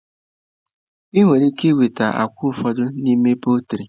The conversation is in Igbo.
Ị nwere ike nweta akwa ụfọdụ n'ime pọltrị.